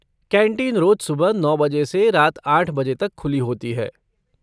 Canteen रोज़ सुबह नौ बजे से रात आठ बजे तक खुली होती है।